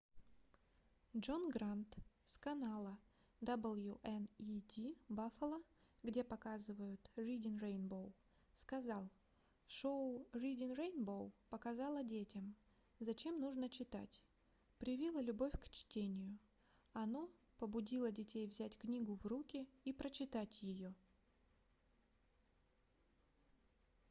джон грант с канала wned buffalo где показывают reading rainbow сказал: шоу reading rainbow показало детям зачем нужно читать ... привило любовь к чтению — [оно] побудило детей взять книгу в руки и прочитать ее